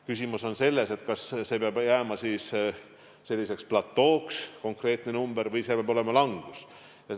Küsimus on selles, kas see peab jääma siis selliseks platooks, mis on konkreetne number, või peab tulema langus.